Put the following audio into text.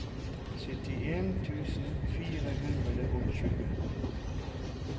syttien tusen fire hundre og tjue